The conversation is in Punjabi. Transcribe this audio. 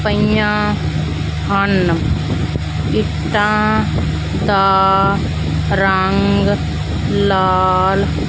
ਪਈਆਂ ਹਨ ਇੱਟਾਂ ਦਾ ਰੰਗ ਲਾਲ।